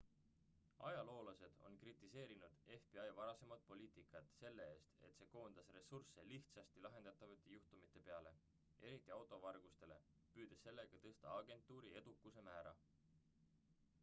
ajaloolased on kritiseerinud fbi varasemat poliitikat selle eest et see koondas ressursse lihtsasti lahendatavate juhtumite peale eriti auto vargustele püüdes sellega tõsta agentuuri edukuse määra